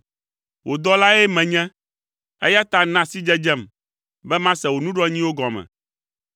Wò dɔlae menye, eya ta na sidzedzem, be mase wò nuɖoanyiwo gɔme.